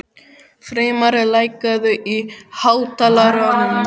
Freymar, lækkaðu í hátalaranum.